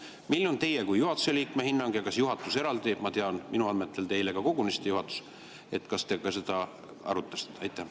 Milline on teie kui juhatuse liikme hinnang ja kas juhatus – minu andmetel te eile kogunesite juhatusega – seda arutas?